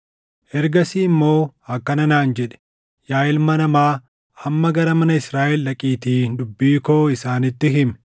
Ergasii immoo akkana naan jedhe: “Yaa ilma namaa, amma gara mana Israaʼel dhaqiitii dubbii koo isaanitti himi.